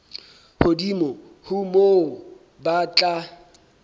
hodimo ho moo ba tla